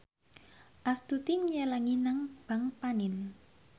Astuti nyelengi nang bank panin